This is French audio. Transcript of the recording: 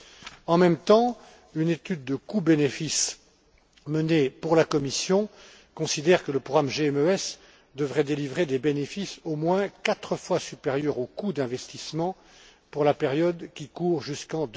Dans le même temps, une étude de coûts bénéfices menée pour la Commission considère que le programme GMES devrait générer des bénéfices au moins quatre fois supérieurs aux coûts d'investissement pour la période allant jusqu'en